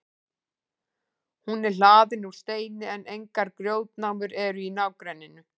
hún er hlaðin úr steini en engar grjótnámur eru í nágrenninu